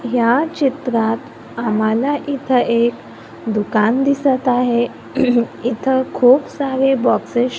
या चित्रात आम्हाला इथ एक दुकान दिसत आहे इथ खूप सारे बॉक्सेस --